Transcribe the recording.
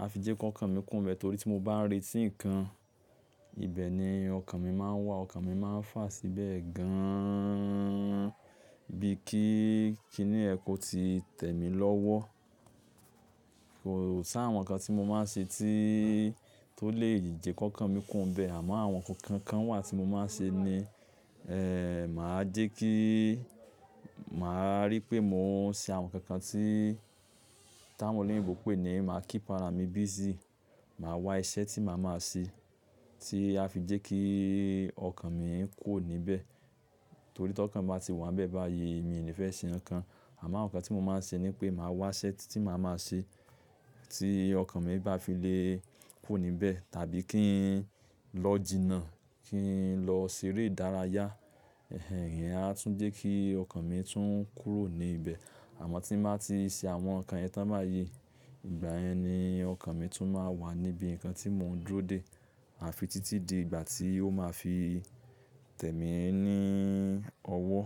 a fi jẹ́ k'ọkàn mi kúrò nbẹ́ẹ̀ torí tí mo bá ń retí ǹkan, ibẹ̀ ni ọkàn mi máa ń wà, ọkàn mi máa ń fà síbẹ̀ gan bíi kí, kí ni ẹ kó ti tẹ̀ mí lọ́wọ́. Kò ṣ'àwọn ǹkan tí mo máa ń ṣe tí tó lè jẹ́ k'ókàn mi kúò nbẹ́ẹ̀ àmọ́ àwọn ǹkan kan kan wà tí mo máa ń ṣe ni ẹ́, mà á jẹ́ kí, mà á rí pé mò ń ṣe àwọn ǹkan kan tí táwọn olóyìnbo pè ní mà á keep ara mi busy. Mà á wá iṣẹ́ tí mà á máa ṣe tí a fi jẹ́ kí ọkàn mi kù níbẹ̀. Torí tí ọkàn bá ti wà níbẹ̀ báyìí, mì ní fẹ́ ṣe ǹkankan. Àmọ́ ǹkan tí mo máa ń ṣe ni pé mà á wá iṣẹ́ tí mà á máa ṣe tí ọkàn mi bá fi lè kùò níbẹ̀ tàbí kí n lọ jìnà, kí n lọ ṣeré ìdárayá. Ẹhìn ìyẹ́n á tún jẹ́ kí ọkàn mi tún kúrò ní ibẹ̀. Àmọ́ tí mà á ti ṣe àwọn ǹkan yẹn tán báayii, ìgbà yẹn ni ọkàn mi tún máa wà níbi ǹkan tí mò ń dúró dè àfi títí di ìgbà tí ó máa fi tẹ̀ mí ní ọwọ́.